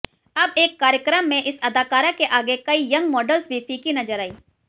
अब एक कार्यक्रम में इस अदाकारा के आगे कई यंग मॉडल्स भी फीकी नजर आईं